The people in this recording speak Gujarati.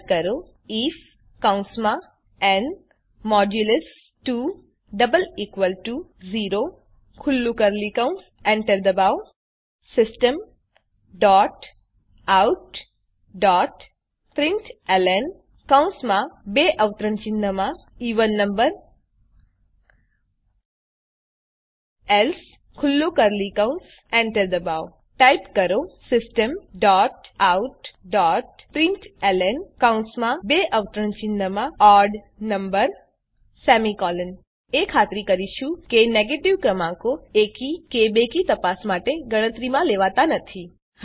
ટાઈપ કરો આઇએફ એન્ટર દબાવો Systemoutprintlnએવેન નંબર એલ્સે એન્ટર દબાવો ટાઈપ કરો Systemoutprintlnઓડ નંબર તો આપણે એ ખાતરી કરીશું કે નેગેટીવ ક્રમાંકો એકી કે બેકી તપાસ માટે ગણતરીમાં લેવાતા નથી